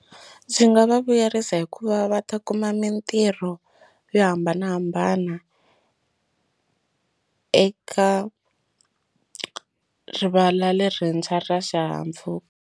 Ndzi nga va vuyerisa hikuva va ta kuma mintirho yo hambanahambana eka rivala lerintshwa ra xihahampfhuka.